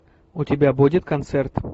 у тебя будет концерт